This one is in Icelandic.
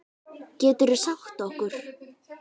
Geturðu sagt okkur?